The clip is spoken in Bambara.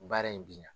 Baara in bi na